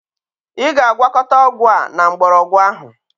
Ị ga-agwakọta ọgwụ a na mgbọrọgwụ ahụ.